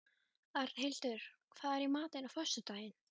Arnhildur, hvað er í matinn á föstudaginn?